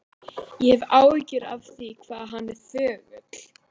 Ég hef áhyggjur af því hvað hann er þögull.